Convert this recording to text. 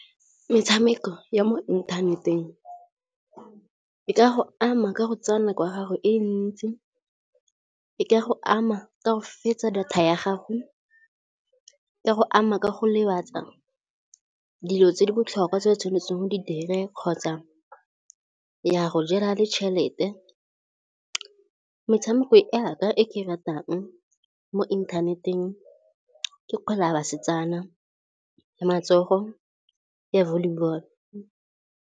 Metshameko ya mo inthaneteng e ka go ama ka go tsaya nako ya gago e ntsi. E ka go ama ka go fetsa data ya gago, e ka go ama ka go lematsa dilo tse di botlhokwa tse o tshwanetseng go di dire kgotsa ya go jela le tšhelete. Metshameko yaka e ke e ratang mo inthaneteng ke kgwele ya basetsana, ya matsogo ya volleyball.